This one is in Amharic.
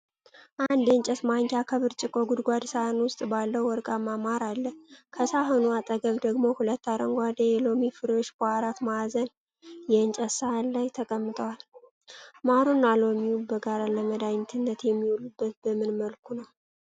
አንድ የእንጨት ማንኪያ ከብርጭቆ ጎድጓዳ ሳህን ውስጥ ባለው ወርቃማ ማር አለ። ከሳህኑ አጠገብ ደግሞ ሁለት አረንጓዴ የሎሚ ፍሬዎች በአራት ማዕዘን የእንጨት ሳህን ላይ ተቀምጠዋል። ማሩና ሎሚው በጋራ ለመድኃኒትነት የሚውሉት በምን መልኩ ነው?